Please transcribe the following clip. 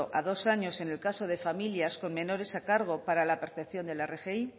a dos años en el caso de familias con menores a cargo para la percepción de la rgi